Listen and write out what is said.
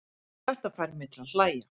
Þetta fær mig til að hlægja.